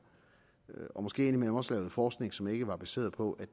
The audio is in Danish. og måske indimellem også lavede forskning som ikke var baseret på